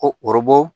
Ko ɔrɔbu